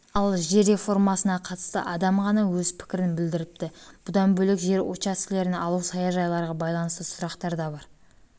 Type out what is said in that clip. ал жер реформасына қатысты адам ғана өз пікірін білдіріпті бұдан бөлек жер учаскелерін алу саяжайларға байланысты сұрақтар да бар